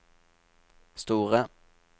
store